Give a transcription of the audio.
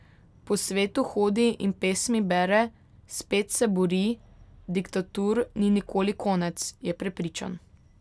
Po svetu hodi in pesmi bere, spet se bori, diktatur ni nikoli konec, je prepričan.